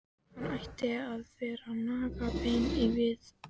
Hann ætti að vera að naga bein á víðavangi!